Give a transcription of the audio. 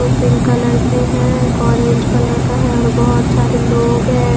दो pink colour के हैं एक ऑरेंज कलर का है और बहुत सारे लोग हैं।